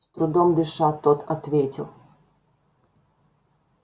с трудом дыша тот ответил